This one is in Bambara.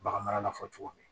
Bagan marala fɔ cogo min